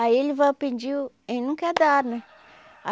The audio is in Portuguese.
Aí ele vai pedir e nunca dá, né?